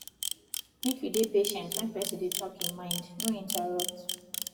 make you dey patient when person dey talk e mind no interrupt